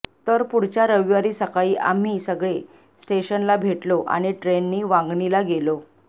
तर पुढच्या रविवारी सकाळी आम्ही सगळे स्टेशनला भेटलो आणि ट्रेननी वांगणीला गेलो